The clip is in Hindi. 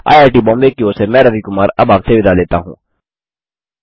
आईआईटी बॉम्बे की ओर से मैं रवि कुमार अब आप से विदा लेता हूँ